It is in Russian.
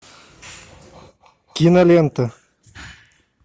кинолента